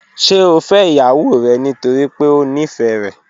Ṣe o fẹ iyawo rẹ nitori pe o nifẹ rẹ?